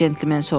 centlmen soruşdu.